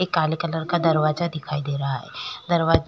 एक काले कलर का दरवाजा दिखाई दे रहा है। दरवाजा --